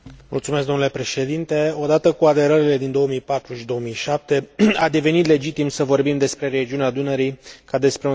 Odată cu aderările din 2004 și 2007 a devenit legitim să vorbim despre regiunea Dunării ca despre un spațiu al Uniunii Europene.